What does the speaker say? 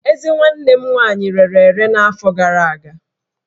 Ezé nwanne m nwaanyị rere ere n'afọ gara aga